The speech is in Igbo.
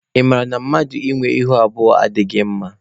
Ị mara na mmadụ ị nwe ihu abụọ adịghị mama?